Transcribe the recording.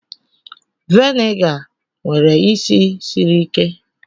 Viniga nwere isi siri ike